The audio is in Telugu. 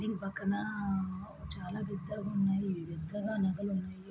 దీని పక్కన చాలా పెద్దగా ఉన్నాయి. ఇవి వింతగా నగలు ఉన్నాయి.